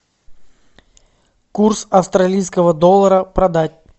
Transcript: курс австралийского доллара продать